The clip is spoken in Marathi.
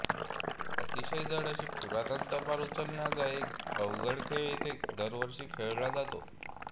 अतिशय जड अशी पुरातन तलवार उचलण्याचा एक अवघड खेळ इथे दरवर्षी खेळला जातो